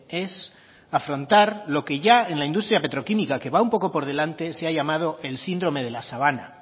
es afrontar lo que ya en la industria petroquímica que va un poco por delante se ha llamado el síndrome de la sabana